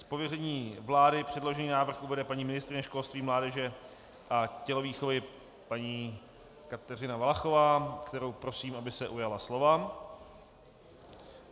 Z pověření vlády předložený návrh uvede paní ministryně školství, mládeže a tělovýchovy paní Kateřina Valachová, kterou prosím, aby se ujala slova.